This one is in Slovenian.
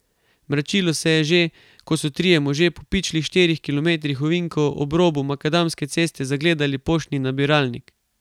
Mračilo se je že, ko so trije možje po pičlih štirih kilometrih ovinkov ob robu makadamske ceste zagledali poštni nabiralnik.